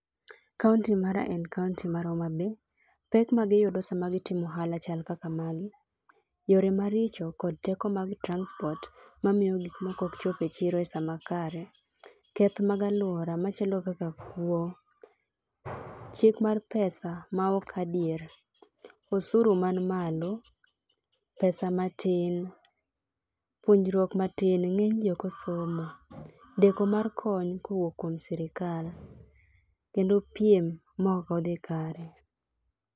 Kaonti mara en kaonti mar Homa Bay, pek maji yudo sama gitimo ohala chal kaka magi, yore maricho, teko mag transport mamiyo gik moko ok chop e chiro esama kare, kethj mag aluora machalo kaka kuo, chik mar pesa maok adier, osuru man malo, pesa matin, puonjruok matin ng'enyji ok osomo, deko mar kony kowuok kuom sirkal, kendo piem maok odhi kare.